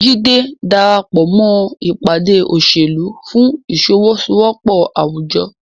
Jide darapọ̀ mọ́ ìpàdé òṣèlú fún ìfọwọ́sowọ́pọ̀ àwùjọ.